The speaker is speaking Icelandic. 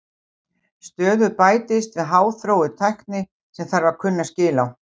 Stöðugt bætist við háþróuð tækni sem þarf að kunna skil á.